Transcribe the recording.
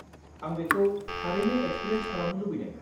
आं बेखौ थारैनो एक्सपिरियेन्स खालामनो लुबैदों।